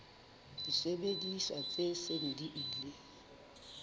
disebediswa tse seng di ile